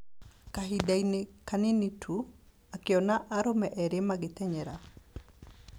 Kahinda-inĩ kanini tu, akĩona arũme erĩ magĩtenyera.